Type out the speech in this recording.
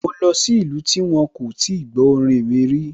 Mo lọ sí ìlú tí wón kò tí gbó orin mi rí